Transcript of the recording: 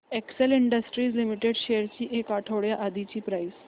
Excel industries limited shares ची एक आठवड्या आधीची प्राइस